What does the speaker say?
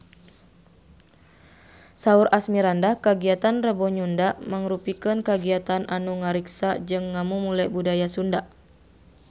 Saur Asmirandah kagiatan Rebo Nyunda mangrupikeun kagiatan anu ngariksa jeung ngamumule budaya Sunda